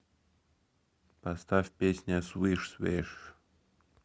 поставь песня свиш свиш